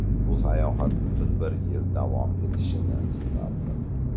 Bu sayohat butun bir yil davom etishini istardim.